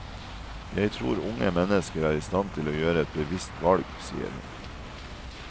Jeg tror unge mennesker er i stand til å gjøre et bevisst valg, sier hun.